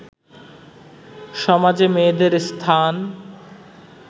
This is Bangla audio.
সমাজে মেয়েদের স্থান